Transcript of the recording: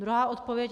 Druhá odpověď.